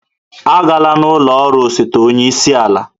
Agala n'ụlọ ọrụ osote onye isi ala